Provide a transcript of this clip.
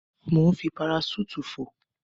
Mò ń fi paraṣúùtì fò.